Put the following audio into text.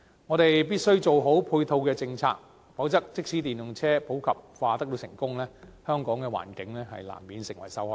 我們必須做好配套政策，否則即使電動車普及化得到成功，香港的環境亦難免成為受害者。